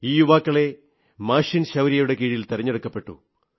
ഈ യുവാക്കളെ മാഷിൻ ശൌര്യയുടെ കീഴിൽ തെരഞ്ഞെടുക്കപ്പെട്ടു